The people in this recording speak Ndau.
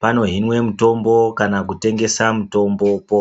pano hinwe mitombo kana kutengesa mutombopo.